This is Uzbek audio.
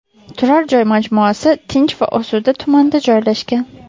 Turar joy majmuasi tinch va osuda tumanda joylashgan.